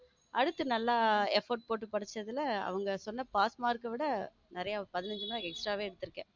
அடுத்து நல்லா effect போட்டு படிச்சதுல அவங்க சொன் pass mark விட நிறைய பதினைந்து mark extra வே எடுத்து இருக்கேன்.